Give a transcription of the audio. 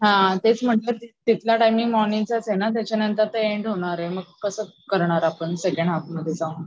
हा तेच म्हंटल तिथला टाईमिंग मॉर्निंगचाचे ना त्याच्या नंतर तर एन्ड होणारे तर मग कस करणार आपण सेकंड हाल्फ मध्ये जाऊन.